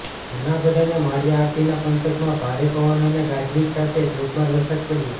જૂનાગઢ અને માળિયા હાટીના પંથકમાં ભારે પવન અને ગાજવીજ સાથે ધોધમાર વરસાદ પડ્યો